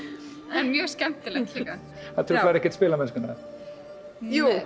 er mjög skemmtilegt líka truflar það ekkert spilamennskuna jú